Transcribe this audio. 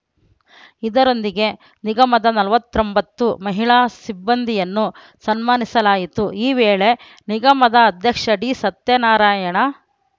ಇದರೊಂದಿಗೆ ನಿಗಮದ ನಲವತ್ ತ್ರೋಮ್ಬತ್ತು ಮಹಿಳಾ ಸಿಬ್ಬಂದಿಯನ್ನು ಸನ್ಮಾನಿಸಲಾಯಿತು ಈ ವೇಳೆ ನಿಗಮದ ಅಧ್ಯಕ್ಷ ಡಿ ಸತ್ಯನಾರಾಯಣ